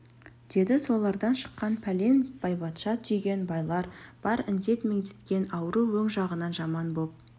деді солардан шыққан пәлен байбатша түйген байлар бар індет меңдеткен ауру өң жағынан жаман боп